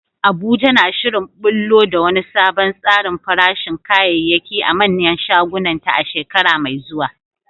Abuja na shirin ɓullo da wani sabon tsarin farashin kayayyaki a manyan shagunanta a shekara mai zuwa.